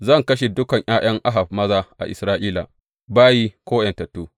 Zan kashe dukan ’ya’yan Ahab maza a Isra’ila, bayi ko ’yantattu.